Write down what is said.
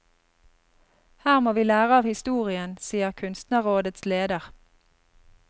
Her må vi lære av historien, sier kunstnerrådets leder.